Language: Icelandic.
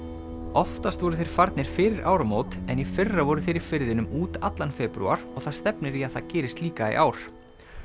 oftast voru þeir farnir fyrir áramót en í fyrra voru þeir í firðinum út allan febrúar og það stefnir í að það gerist líka í ár